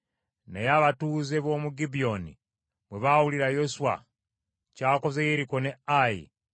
Naye abatuuze b’omu Gibyoni bwe baawulira Yoswa ky’akoze Yeriko ne Ayi